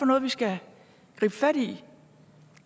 noget vi skal gribe fat i